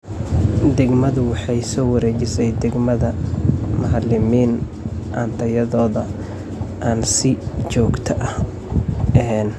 Degmadu waxay ka soo wareejisay degmada macalimiin aan tayadado an si jogta ah ehen.